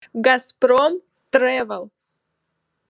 газпром тревел